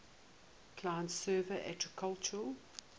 client server architecture